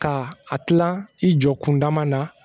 Ka a tila i jɔ kun dama na